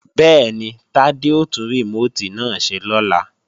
Bẹ́ẹ̀ni, Tádé ó tún rìmóòtì náà ṣe lọ́la